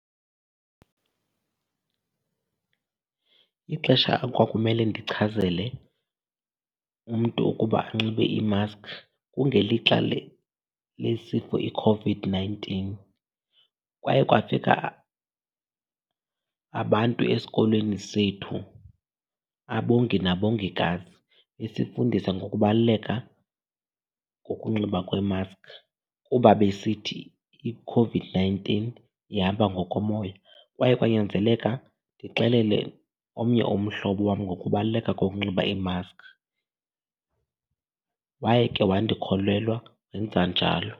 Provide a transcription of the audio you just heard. Ixesha ekwakumele ndichazele umntu ukuba anxibe imaskhi kungelixa lesifo iCOVID-nineteen. Kwaye kwafika abantu esikolweni sethu, abongi nabongikazi, besifundisa ngokubaluleka kokunxiba kwemaskhi kuba besithi iCOVID-nineteen ihamba ngokomoya. Kwaye kwanyanzeleka ndixelele omnye umhlobo wam ngokubaluleka kokunxiba iimaskhi, waye ke wandikholelwa wenza njalo.